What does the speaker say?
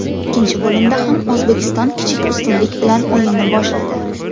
Ikkinchi bo‘limda ham O‘zbekiston kichik ustunlik bilan o‘yinni boshladi.